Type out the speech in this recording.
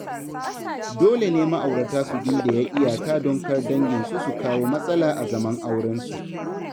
Dole ne ma’aurata su gindaya iyaka don kar danginsu su kawo matsala a zaman aurensu.